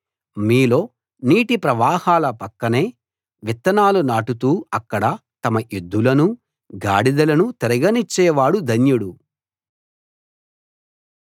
మీలో నీటి ప్రవాహాల పక్కనే విత్తనాలు నాటుతూ అక్కడ తమ ఎద్దులనూ గాడిదలనూ తిరగనిచ్చేవాడు ధన్యుడు